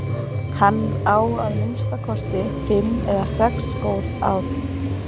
Hann á að minnsta kosti fimm eða sex góð ár.